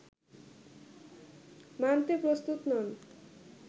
মানতে প্রস্তুত নন